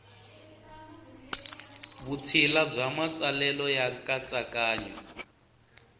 vutshila bya matsalelo ya nkatsakanyo